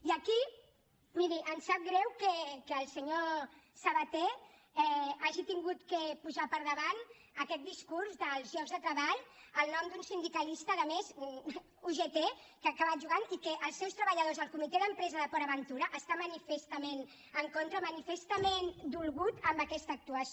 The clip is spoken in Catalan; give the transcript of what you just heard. i aquí miri em sap greu que el senyor sabaté hagi hagut de posar per davant aquest discurs dels llocs de treball el nom d’un sindicalista a més ugt que ha acabat jugant i que els seus treballadors el comitè d’empresa de port aventura està manifestament en contra manifestament dolgut amb aquesta actuació